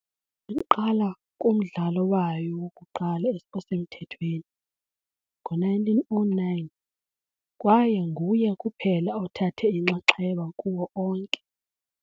Iqala kumdlalo wayo wokuqala osemthethweni, ngo-1909, kwaye nguye kuphela othathe inxaxheba kuwo onke.